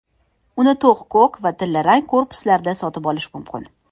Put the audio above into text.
Uni to‘q ko‘k va tillarang korpuslarda sotib olish mumkin.